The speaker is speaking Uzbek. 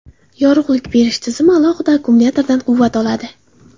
Yorug‘lik berish tizimi alohida akkumulyatordan quvvat oladi.